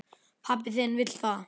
Pabbi þinn vill það.